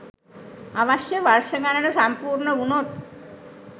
අවශ්‍ය වර්ෂ ගණන සම්පුර්ණ වුණොත්